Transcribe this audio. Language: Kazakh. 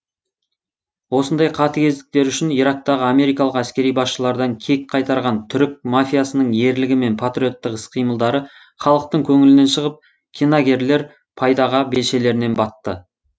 осындай қатыгездіктері үшін ирактағы америкалық әскери басшылардан кек қайтарған түрік мафиясының ерлігі мен патриоттық іс қимылдары халықтың көңілінен шығып киногерлер пайдаға белшелерінен батты